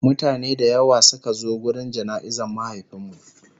mutane da yawa Suka zo wurin jana'izar mahaifinmu